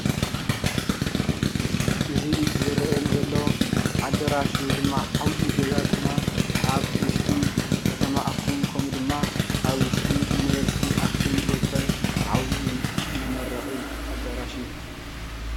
እዚ ዝረአየኒ ዘሎ ኣዳራሽ ወይ ድማ ዓብይ ገዛ ድማ ኣብ ውሽጢ ከተማ ኣክሱም ከምኡድማ ኣብ ውሽጢ ዩኒቨርስቲ ኣክሱም ዝርከብ ዓብይ መመረቒ ኣዳራሽ እዩ።